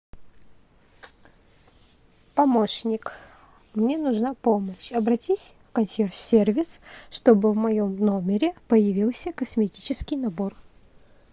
помощник мне нужна помощь обратись в консьерж сервис чтобы в моем номере появился косметический набор